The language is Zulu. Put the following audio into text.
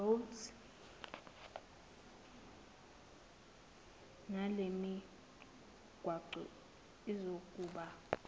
roads nalemigwaqo izokuba